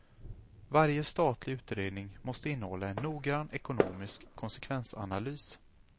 Varje statlig utredning måste innehålla en noggrann ekonomisk konsekvensanalys.